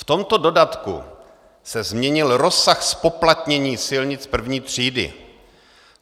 V tomto dodatku se změnil rozsah zpoplatnění silnic první třídy.